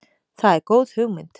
Það er góð hugmynd.